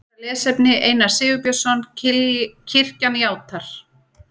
Frekara lesefni Einar Sigurbjörnsson: Kirkjan játar.